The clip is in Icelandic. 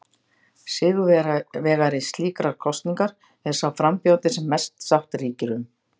Sigurvegari slíkrar kosningar er sá frambjóðandi sem mest sátt ríkir um.